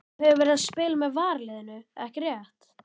Þú hefur verið að spila með varaliðinu ekki rétt?